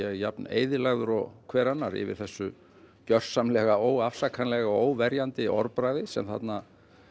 er jafn eyðilagður og hver annar yfir þessu gjörsamlega óafsakanlega og óverjandi orðbragði sem þarna